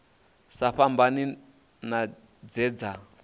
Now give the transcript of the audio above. sa fhambani na dze dza